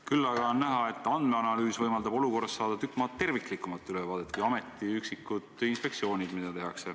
Küll aga on näha, et andmeanalüüs võimaldab olukorrast saada tükk maad terviklikumat ülevaadet kui ameti üksikud inspektsioonid.